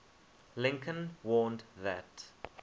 lincoln warned that